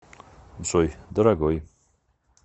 джой дорогой